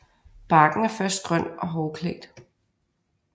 Barken er først grøn og hårklædt